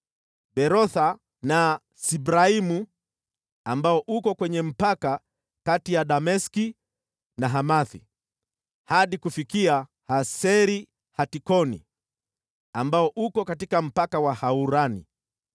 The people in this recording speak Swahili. Berotha na Sibraimu (ambao uko kwenye mpaka kati ya Dameski na Hamathi), hadi kufikia Haser-Hatikoni, ambao uko katika mpaka wa Haurani.